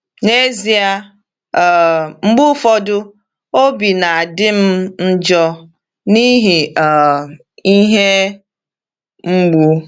N'ezie, um mgbe ụfọdụ, obi na-adị m njọ n’ihi um ihe mgbu.